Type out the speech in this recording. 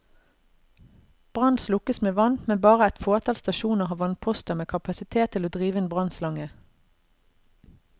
Brann slukkes med vann, men bare et fåtall stasjoner har vannposter med kapasitet til å drive en brannnslange.